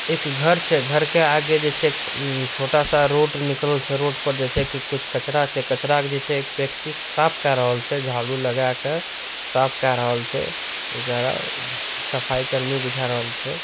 एक घर छे घर के आगे जे छे एक छोटा सा रोड निकाल छेे रोड पर जैसे कि कुछ कचरा छे कचरा जे छे के एक व्यक्ति साफ करोल छे झाड़ू लगाकर साफ करोल छे जरा अ-सफाई कर्मी बुजावेल छे।